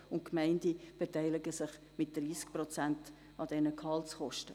Die Gemeinden beteiligen sich mit 30 Prozent an den Gehaltskosten.